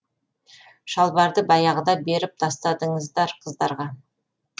шалбарды баяғыда беріп тастадыңыздар қыздарға